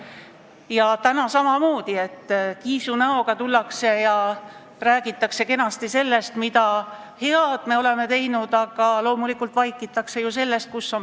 Ja täna samamoodi tullakse kiisunäoga pulti ja räägitakse kenasti sellest, mida head on tehtud, aga probleemsetest kohtadest loomulikult vaikitakse.